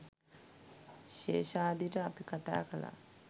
ශේෂාද්‍රිට අපි කතා කළා.